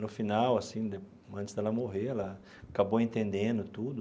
No final assim né, antes dela morrer, ela acabou entendendo tudo.